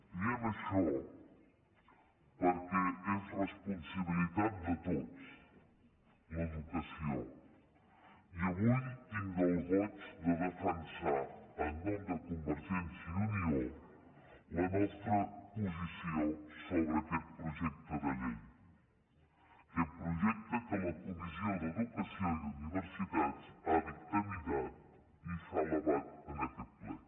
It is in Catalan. diem això perquè és responsabilitat de tots l’educació i avui tinc el goig de defensar en nom de convergència i unió la nostra posició sobre aquest projecte de llei aquest projecte que la comissió d’educació i universitats ha dictaminat i s’ha elevat a aquest ple